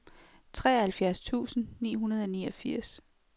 treoghalvfjerds tusind ni hundrede og niogfirs